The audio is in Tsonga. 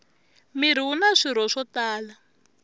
mirhi wuna swirho swo tala